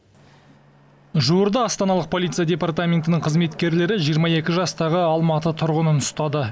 жуырда астаналық полиция департаментінің қызметкерлері жиырма екі жастағы алматы тұрғынын ұстады